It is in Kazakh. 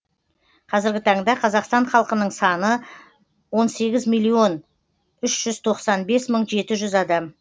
қазіргі таңда қазақстан халқының саны он сегіз миллион үш жүз тоқсан бес мың жеті жүз адам